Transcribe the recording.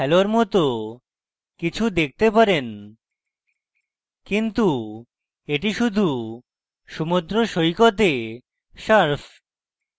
আপনি হ্যালোর মত কিছু দেখতে পারেন কিন্তু এটি শুধু সমুদ্র সৈকতে surf